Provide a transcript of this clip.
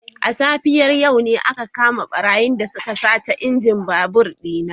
A safiyar yau ne aka kama barayin da suka sace injin babur dina.